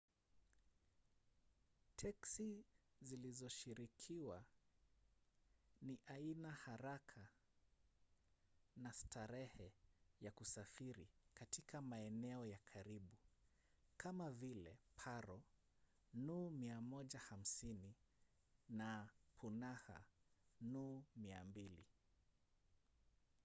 teksi zilizoshirikiwa ni aina haraka na starehe ya kusafiri katika maeneo ya karibu kama vile paro nu 150 na punakha nu 200